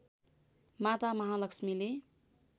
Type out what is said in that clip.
माता महालक्ष्मीले